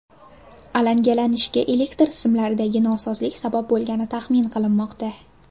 Alangalanishga elektr simlaridagi nosozlik sabab bo‘lgani taxmin qilinmoqda.